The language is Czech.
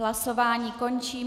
Hlasování končím.